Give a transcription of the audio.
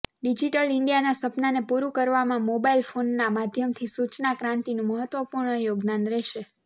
digital ઈન્ડિયાના સપનાને પૂરૂ કરવામાં મોબાઇલ ફોનના માધ્યમથી સૂચના ક્રાંતિનું મહત્વપૂર્ણ યોગદાન રહેશે